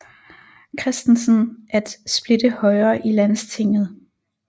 Christensen at splitte Højre i Landstinget